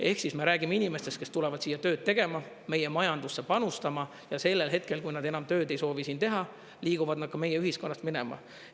Ehk siis me räägime inimestest, kes tulevad siia tööd tegema, meie majandusse panustama, ja sellel hetkel, kui nad enam tööd ei soovi siin teha, liiguvad nad ka meie ühiskonnast minema.